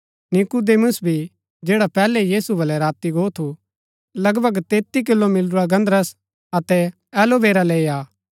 नीकुदेमुस भी जैडा पैहलै यीशु बलै राती गो थू लगभग 33 किलो मिलुरा गन्धरस अतै एलोवेरा लैई आ